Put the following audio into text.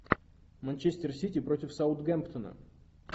манчестер сити против саутгемптона